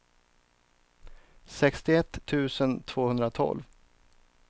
sextioett tusen tvåhundratolv